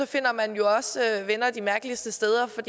finder man venner de mærkeligste steder for